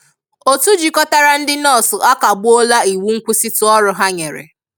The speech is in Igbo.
Otú jịkọtara ndị nọọsụ akagbuola iwu nkwụsịtụ ọrụ ha nyere